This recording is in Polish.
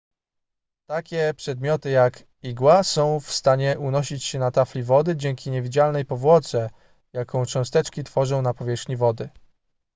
takie przedmioty jak igła są w stanie unosić się na tafli wody dzięki niewidzialnej powłoce jaką cząsteczki tworzą na powierzchni wody